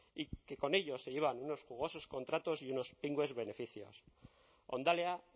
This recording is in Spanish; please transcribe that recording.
y que con ello se llevan unos jugosos contratos y unos pingües beneficios hondalea